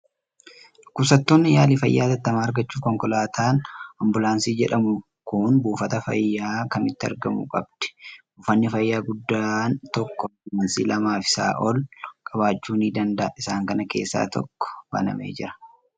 Dhukkubsattoonni yaalii fayyaa hatattamaa argachuuf, konkolaataan Ambulaansii jedhamu kun buufata fayyaa kamiitti argamuu qabdi. Buufanni fayyaa guddaan tokko ambulaansii lamaa fi isaa ol qabaachuu ni danda'a. Isaan kana keessaa tokko banamee jira.